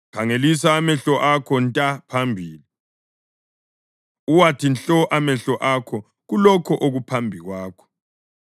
Khangelisa amehlo akho nta phambili, uwathi nhlo amehlo akho kulokho okuphambi kwakho.